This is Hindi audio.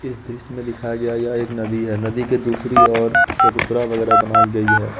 इस दृश्य में दिखाया गया है यह एक नदी है नदी के दूसरी ओर चबूतरा वगैरा बनाई गई है।